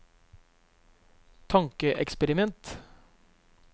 tankeeksperiment